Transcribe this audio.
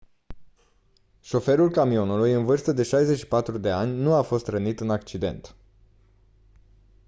șoferul camionului în vârstă de 64 de ani nu a fost rănit în accident